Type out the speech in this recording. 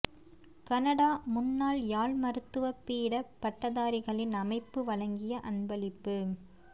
Canada முன்னாள் யாழ் மருத்துவ பீட பட்டதாரிகளின் அமைப்பு வழங்கிய அன்பளிப்பு